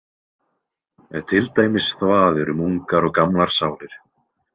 Til dæmis þvaður um ungar og gamlar sálir.